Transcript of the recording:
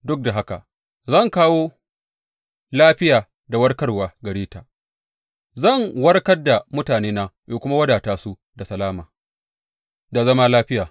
Duk da haka, zan kawo lafiya da warkarwa gare ta; zan warkar da mutanena in kuma wadata su da salama da zama lafiya.